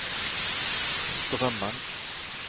Strømmen